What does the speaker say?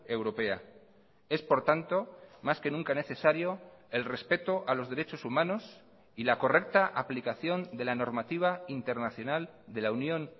europea es por tanto más que nunca necesario el respeto a los derechos humanos y la correcta aplicación de la normativa internacional de la unión